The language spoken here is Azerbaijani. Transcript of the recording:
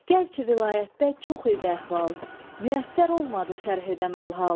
Gərçi vilayətdə çox idi əhval, müyəssər olmadı şərh edəm əlhal.